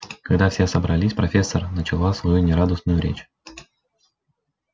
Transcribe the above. когда все собрались профессор начала свою нерадостную речь